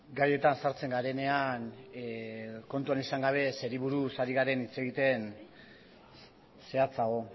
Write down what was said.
gaietan sartzen garenean kontuan izan gabe zeri buruz ari garen hitz egiten zehatzago